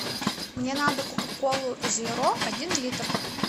мне надо кока колу зеро один литр